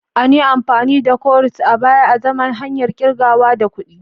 An yi amfani da cowries a baya azaman hanyar kirgawa da kuɗi.